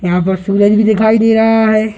यहाँ पर भी दिखाई दे रहा है।